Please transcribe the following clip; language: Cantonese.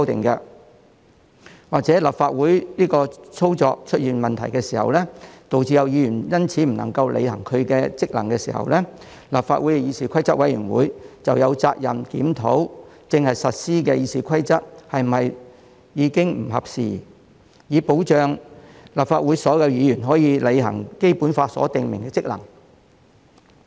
又或是當立法會的運作出現問題的時候，導致有議員因此不能履行職能的時候，立法會議事規則委員會便有責任檢討正在實施的《議事規則》是否不合時宜，以保障立法會所有議員可以履行《基本法》所訂明的職能。